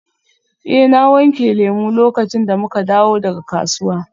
Eh na wanke lemu lokacin da muka dawo daga kasuwa.